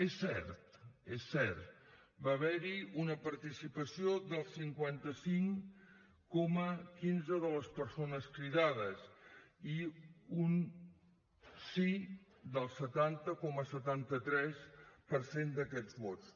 és cert és cert va haver hi una participació del cinquanta cinc coma quinze de les persones cridades i un sí del setanta coma setanta tres per cent d’aquests vots